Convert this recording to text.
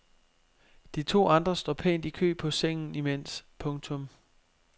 De to andre står pænt i kø på sengen imens. punktum